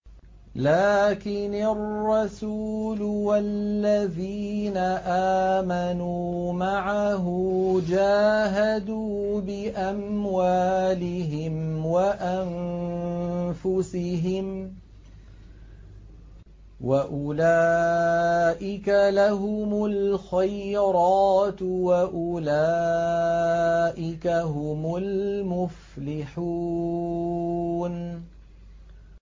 لَٰكِنِ الرَّسُولُ وَالَّذِينَ آمَنُوا مَعَهُ جَاهَدُوا بِأَمْوَالِهِمْ وَأَنفُسِهِمْ ۚ وَأُولَٰئِكَ لَهُمُ الْخَيْرَاتُ ۖ وَأُولَٰئِكَ هُمُ الْمُفْلِحُونَ